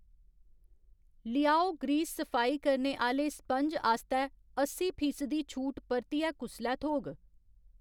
लियाओ grease सफाई करने आह्‌ले स्पंज आस्तै अस्सी फीसदी छूट परतियै कुसलै थ्होग?